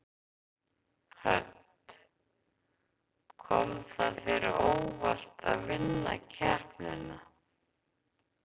Hödd: Kom það þér á óvart að vinna keppnina?